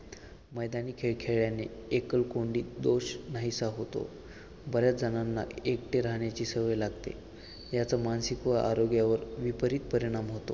मैदानी खेळ खेळणे एकलकोंडी दोष नाहीसा होतो. बऱ्याच जणांना एकटे राहण्याची सवय लागते याचा मानसिक व जागतिक आरोग्यावर विपरीत परिणाम होतो